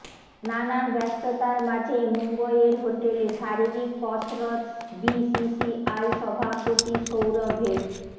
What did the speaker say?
নানান ব্যস্ততার মাঝে মুম্বইয়ের হোটেলে শারীরিক কসরত বিসিসিআই সভাপতি সৌরভের